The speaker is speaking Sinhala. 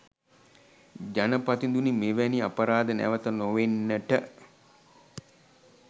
ජනපතිඳුනි මෙවැනි අපරාධ නැවත නොවෙන්නට